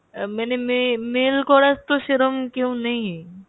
আহ মানে মে~ mail করার তো সেরম কেউ নেই।